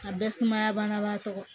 A bɛɛ sumaya bana b'a tɔ